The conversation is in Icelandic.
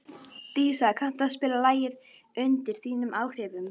Dísa, kanntu að spila lagið „Undir þínum áhrifum“?